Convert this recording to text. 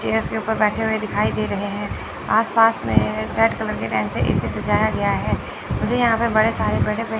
chairs के ऊपर बैठे हुए दिखाई दे रहे हैं आस पास में रेड कलर के रंग से इसे सजाया गया है मुझे यहां पर बड़े सारे बड़े भी--